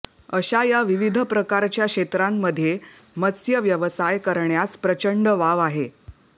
अशा या विविध प्रकारच्या क्षेत्रांमध्ये मत्स्यव्यवसाय करण्यास प्रचंड वाव आहे